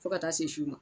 Fo ka taa se su ma